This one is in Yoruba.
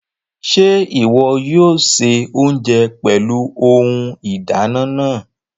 Ṣe iwọ yóò ṣe oúnjẹ pẹlú Ohùn ìdáná náà?